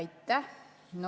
Aitäh!